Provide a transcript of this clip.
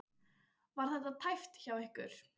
Var þetta tæpt hjá ykkur?